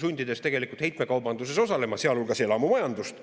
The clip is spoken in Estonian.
heitmekaubanduses osalema, sealhulgas elamumajandust.